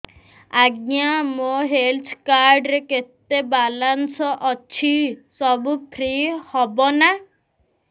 ଆଜ୍ଞା ମୋ health card ରେ କେତେ ବାଲାନ୍ସ ଅଛି ସବୁ ଫ୍ରି ହବ ନାଁ